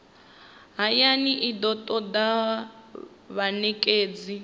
hayani i do toda vhanekedzi